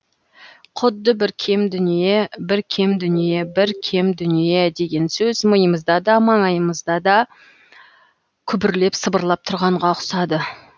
құдды бір кем дүние бір кем дүние бір кем дүние деген сөз миымызда да маңайымызда да күбірлеп сыбырлап тұрғанға ұқсады